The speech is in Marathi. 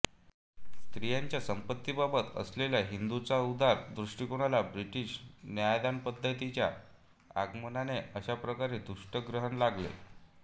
स्त्रियांच्या संपत्तीबाबत असलेल्या हिंदूंच्या उदार दृष्टिकोणाला ब्रिटिश न्यायदानपद्धतीच्या आगमनाने अशा प्रकारे दुष्ट ग्रहण लागले